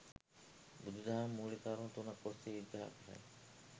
බුදුදහම මූලික කරුණු තුනක් ඔස්සේ විග්‍රහ කරයි.